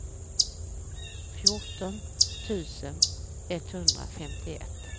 fjorton tusen etthundrafemtioett